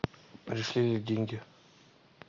пришли ли деньги